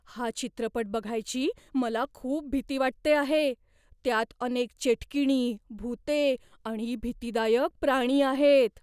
हा चित्रपट बघायची मला खूप भीती वाटते आहे. त्यात अनेक चेटकिणी, भुते आणि भीतीदायक प्राणी आहेत.